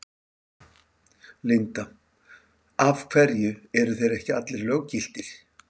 Linda: Af hverju eru þeir ekki allir löggiltir?